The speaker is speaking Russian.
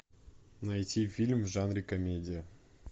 найти фильм в жанре комедия